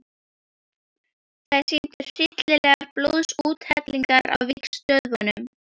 Þær sýndu hryllilegar blóðsúthellingar á vígstöðvunum.